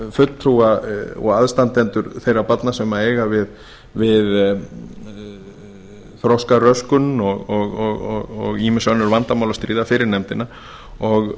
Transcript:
fulltrúa og aðstandendur þeirra barna sem eiga við þroskaröskun og ýmis önnur vandamál að stríða fyrir nefndina og